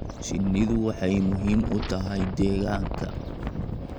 Shinnidu waxay muhiim u tahay deegaanka.